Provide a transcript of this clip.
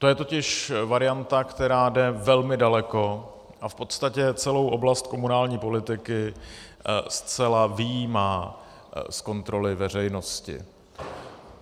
To je totiž varianta, která jde velmi daleko a v podstatě celou oblast komunální politiky zcela vyjímá z kontroly veřejnosti.